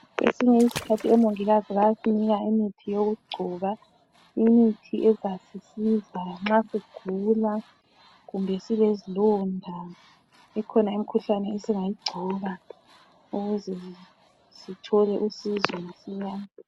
Kwesinye isikhathi omongikazi bayasinika imithi yokugcoba, imithi ezasisiza nxa sigula kumbe silezilonda. Ikhona imkhuhlane esingayigcoba ukuze sithole usizo masinyane.